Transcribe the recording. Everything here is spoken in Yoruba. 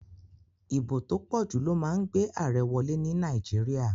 Ìbò tó pòjù ló ma n gbé àarẹ wolé ní Naíjiria